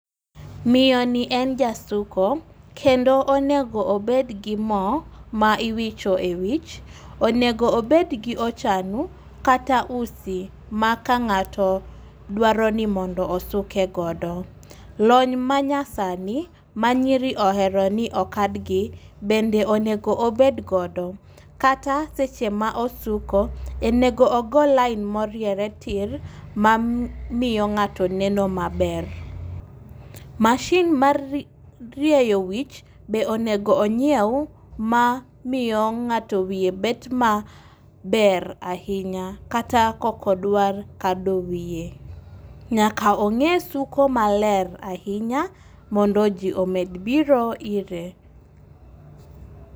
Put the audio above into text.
Miyoni en jasuko kendo onego obed gi mo ma iwicho e wich. Onego obed gi ochanu kata usi ma kang'ato dwaro ni mondo osuke godo. Lony manyasani ma nyiri ohero ni okad gi bende onego obedgodo kata seche ma osuko, onego ogo lain moriere tir mamiyo ng'ato neno maber. Masin mar rieyo wich bende onego onyiew mamiyo ng'ato wiye bet maber ahinya kata ka ok odwar kado wiye. Nyaka ong'e suko maler ahinya mondo ji omed biro ire.